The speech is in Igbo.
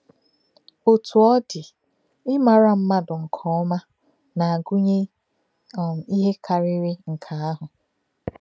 Òtú̄ ọ̀ ọ̀ dị̄, ímárà mmádụ̀ nkè̄ọ́má̄ nā-ágụ́nyè̄ um íhè kárìrì nkè̄ àhụ̄.